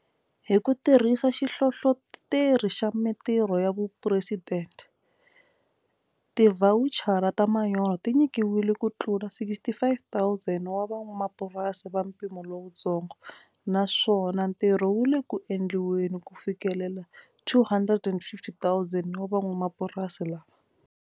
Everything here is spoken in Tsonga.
Hi ku tirhisa Xihlohloteri xa Mitirho xa Phuresidente, tivhawuchara ta manyoro ti nyikiwile kutlula 65,000 wa van'wamapurasi va mpimo lowutsongo, naswona ntirho wu le ku endliweni ku fikelela 250,000 wa van'wamapurasi valava.